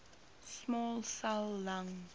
small cell lung